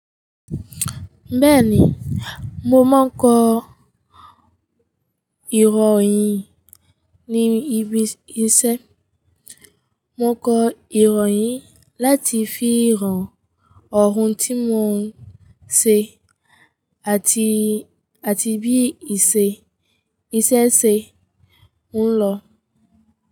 Bẹ́ẹ̀ni, mo máa ń kọ ìròyìn ní ibi iṣẹ́. Mo kọ ìròyìn láti fi hàn ọ̀hún tí mò ń ṣe àti, àti bí iṣẹ́ ìṣe se ń lọ.